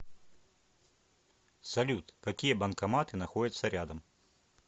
салют какие банкоматы находятся рядом